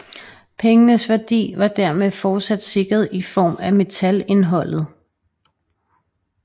Pengenes værdi var dermed fortsat sikret i form af metalindholdet